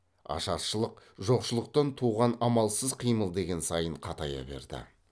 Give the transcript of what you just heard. ашаршылық жоқшылықтан туған амалсыз қимыл деген сайын қатая берді